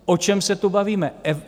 O čem se tu bavíme?